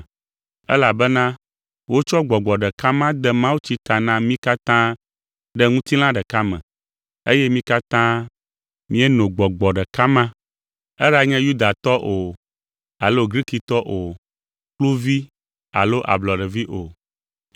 elabena wotsɔ Gbɔgbɔ ɖeka ma de mawutsi ta na mí katã ɖe ŋutilã ɖeka me, eye mí katã mieno Gbɔgbɔ ɖeka ma, eɖanye Yudatɔ o, alo Grikitɔ o, kluvi alo ablɔɖevi o.